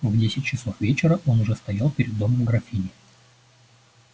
в десять часов вечера он уж стоял перед домом графини